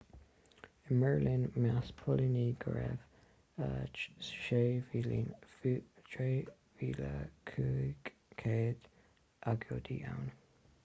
i mbeirlín mheas póilíní go raibh 6,500 agóide ann